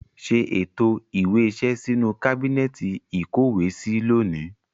Ṣé ètò ìwé iṣẹ́ sínú kábínẹ́ẹ̀tì ìkówèé sí lónìí